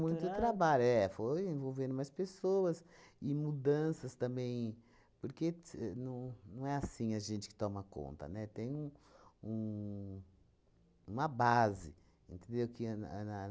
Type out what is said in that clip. Muito trabalho, é, foi envolvendo mais pessoas e mudanças também, porque tse não não é assim a gente que toma conta, né, tem um um uma base, entendeu? Que ia na